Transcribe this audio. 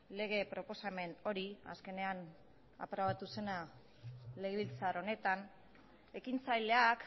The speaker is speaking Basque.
lege proposamen hori azkenean aprobatu zena legebiltzar honetan ekintzaileak